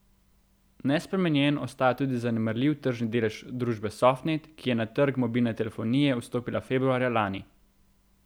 Nespremenjen ostaja tudi zanemarljiv tržni delež družbe Softnet, ki je na trg mobilne telefonije vstopila februarja lani.